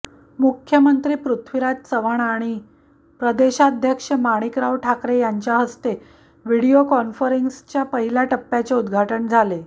मुख्यमंत्री पृथ्वीराज चव्हाण आणि प्रदेशाध्यक्ष माणिकराव ठाकरे यांच्या हस्ते व्हिडिओ कॉन्फरन्सिंगच्या पहिल्या टप्प्याचे उद्घाटन झाले